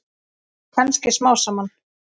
Kannski smám saman.